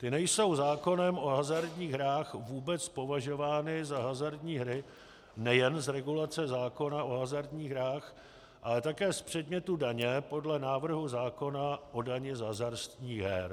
Ty nejsou zákonem o hazardních hrách vůbec považovány za hazardní hry nejen z regulace zákona o hazardních hrách, ale také z předmětu daně, podle návrhu zákona o dani z hazardních her.